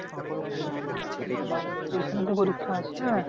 পরীক্ষা আছে?